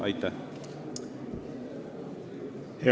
Aitäh!